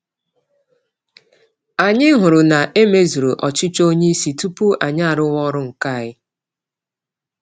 Anyị hụrụ na emezuru ọchịchọ onyeisi tupu anyị arụwa ọrụ nke anyị